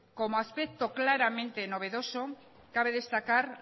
como aspecto claramente novedoso cabe destacar